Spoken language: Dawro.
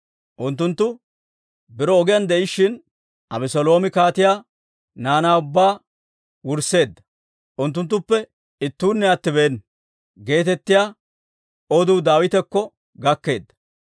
Unttunttu biro ogiyaan de'ishshin, «Abeseeloomi kaatiyaa naanaa ubbaa wursseedda; unttuttuppe ittuunne attibeena» geetettiyaa oduu Daawitakko gakkeedda.